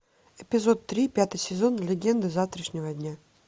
эпизод три пятый сезон легенды завтрашнего дня